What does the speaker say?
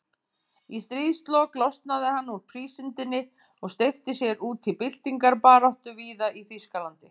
Í stríðslok losnaði hann úr prísundinni og steypti sér út í byltingarbaráttu víða í Þýskalandi.